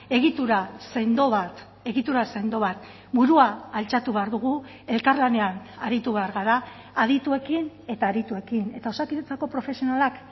egitura sendo bat egitura sendo bat burua altxatu behar dugu elkarlanean aritu behar gara adituekin eta adituekin eta osakidetzako profesionalak